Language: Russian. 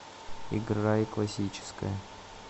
играй классическая